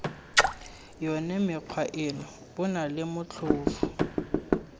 yone mekgwa eno bonale motlhofo